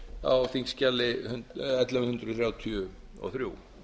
á þingskjali ellefu hundruð þrjátíu og þrjú